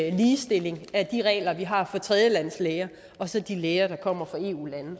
en ligestilling af de regler vi har for tredjelandslæger og så de læger der kommer fra eu lande